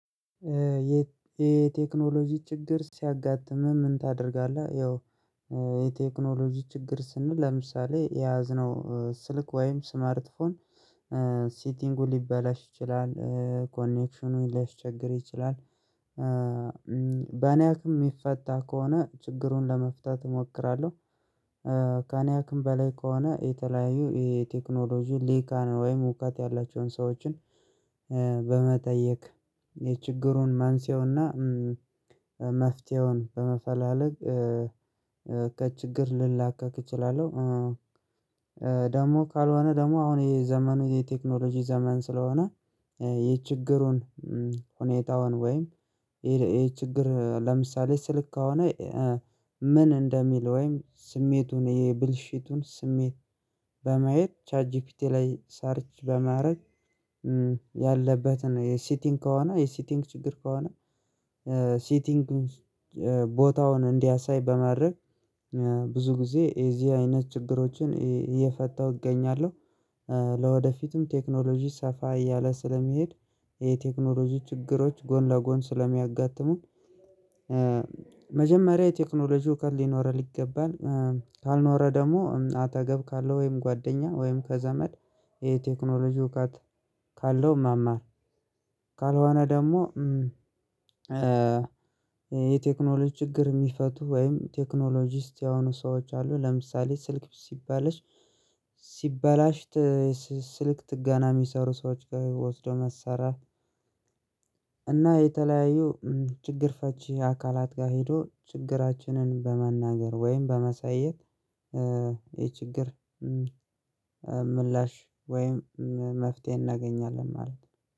የቴክኖሎጂ ችግር ሲያጋጥምህ ምን ታደርጋለህ? ያው የቴክኖሎጂ ችግር ስንል ለምሳሌ የያዝነው ስልክ ወይም ስማርትፎን ሲቲንጉ ሊበላሽ ይችላል ኮኔክሽኑን ሊያስቸግር ይችላል። በኔ አቅም እሚፈታ ከሆነ ችግሩን ለመፍታት እሞክራለሁ። ከኔ አቅም በላይ ከሆነ የተለያዩ ይሄ ቴክኖሎጂ ልሂቃን ወይም እዉቀት ያላቸውን ሰዎችን በመጠየቅ የችግሩን መንስኤዉና መፍትሄውን በመፈላለግ ከችግር ልላቀቅ እችላለሁ። ደግሞ ካልሆነ ደግሞ አሁን የዘመኑ የቴክኖሎጂ ዘመን ስለሆነ። ይሄ ችግሩን ሁኔታውን ወይም ይሄ ችግር ለምሳሌ ስልክ ከሆነ ምን እንደሚል ወይም ስሜቱን የብልሽቱን ስሜት በማየት ቻት ጂፒቲ ላይ ሰርች በማድረግ። ያለበትን የሲቲንግ ከሆነ የሲቲንግ ችግር ከሆነ። ሲቲንግ ቦታውን እንዲያሳይ በማድረግ ብዙ ጊዜ የዚህ አይነት ችግሮችን እየፈታሁ እገኛለሁ። ለወደፊትም ቴክኖሎጂ ሰፋ እያለ ስለሚሄድ የቴክኖሎጂ ችግሮች ጎን ለጎን ስለሚያጋጥሙን። መጀመሪያ የቴክኖሎጂው እዉቀት ሊኖረን ይገባል። ካልኖረ ደግሞ አጠገብ ካለው ወይም ጓደኛ ወይም ከዘመድ የቴክኖሎጂ እውቀት ካለው መማር። ካልሆነ ደግሞ የቴክኖሎጂ ችግር እሚፈቱ ወይም ቴክኖሎጂስት የሆኑ ሰዎች አሉ ለምሳሌ ስልክ ሲባለሽ ሲበላሽ ስልክ ጥገና እሚሰሩ ሰዎች ጋ ወስዶ ማሰራት። እና የተለያዩ ችግር ፈቺ አካላት ጋ ሄዶ ችግራችንን በመናገር ወይም በማሳየት የችግር ምላሽ ወይም መፍትሄ እናገኛለን ማለት ነው